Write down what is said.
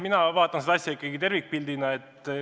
Mina vaatan seda asja ikkagi tervikpildina.